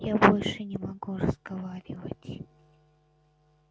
я больше не могу разговаривать